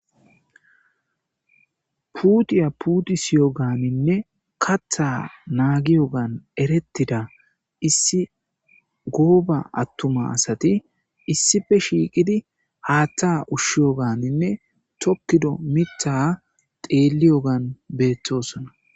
Putiya putisoganinne katha nagiyogan eretida issi goba atuma asati issipe shiiqidi hatha ushiyoganinne tokido mitha xeliygan betosona